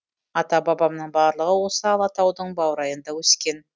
ата бабамның барлығы осы алатаудың баурайында өскен